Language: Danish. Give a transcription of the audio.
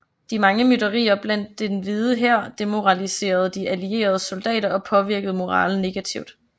De mange mytterier blandt Den Hvide Hær demoraliserede De Allieredes soldater og påvirkede moralen negativt